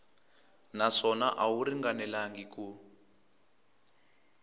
naswona a wu ringanelangi ku